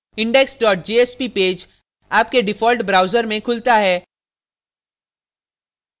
index jsp page आपके default browser में खुलता है